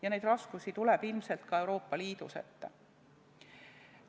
Ja raskusi tuleb ilmselt ka Euroopa Liidus ette.